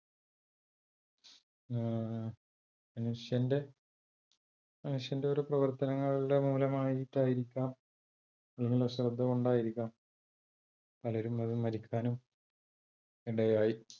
മനുഷ്യന്റെ, മനുഷ്യന്റെ ഓരോ പ്രവർത്തനങ്ങളുടെ മൂലം ആയിട്ട് ആയിരിക്കാം അതിലുള്ള ശ്രദ്ധ കൊണ്ട് ആയിരിക്കാം പലരും അതിൽ മരിക്കാനും ഇടയായി